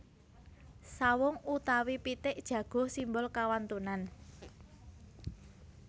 Sawung utawi pitik jago simbol kawantunan